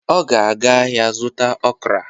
Ọ ga-aga ahịa zụta okra